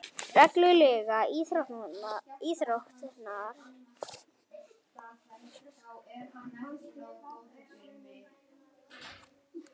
Reglum íþróttarinnar varð að breyta til að aðlaga hana að evrópskum hestum og aðstæðum.